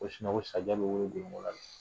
Ko sinɔ ko sajɛ bɛ weele gorongo la.